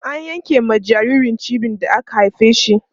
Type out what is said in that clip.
an yanke ma jinjiri cibi da aka haife shi